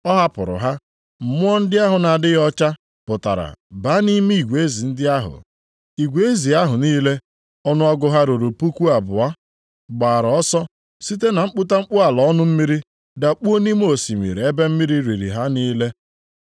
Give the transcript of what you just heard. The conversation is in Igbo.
Ọ hapụrụ ha; mmụọ ndị ahụ na-adịghị ọcha pụtara baa nʼime igwe ezi ndị ahụ. Igwe ezi ahụ niile, ọnụọgụgụ ha ruru puku abụọ, gbaara ọsọ site na mkputamkpu ala ọnụ mmiri dakpuo nʼime osimiri ebe mmiri riri ha niile.